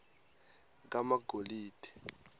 kamagolide